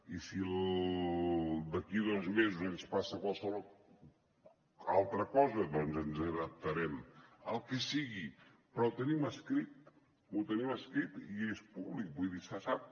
i si d’aquí a dos mesos ens passa qualsevol altra cosa doncs ens adaptarem el que sigui però ho tenim escrit ho tenim escrit i és públic vull dir se sap